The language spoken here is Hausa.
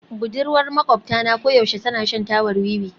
Budurwar maƙwabta na koyaushe tana shan tabar wiwi